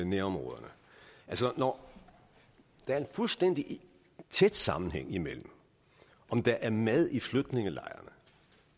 nærområderne altså når der er fuldstændig tæt sammenhæng imellem om der er mad i flygtningelejrene